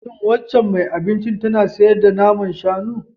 Shin waccan mai abincin tana sayar da naman shanu?